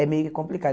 é meio que complicado.